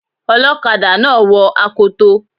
Ọlọ́kadà náà wo akoto.